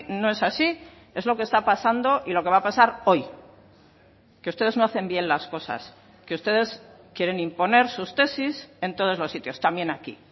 no es así es lo que está pasando y lo que va a pasar hoy que ustedes no hacen bien las cosas que ustedes quieren imponer sus tesis en todos los sitios también aquí